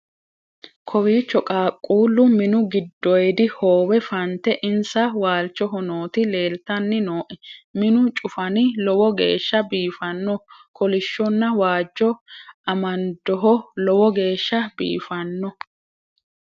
kawiicho qaaquullu minu gidoyidi howe fante insa waalchoho nooti leeltanni nooe minu cufani lowo geeshsha biifanno kolishshonna waajjo amandoho lowo geeshsha biifanno